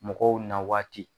Mɔgɔw na waati